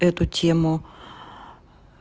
эту тему